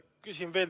Küsin veel.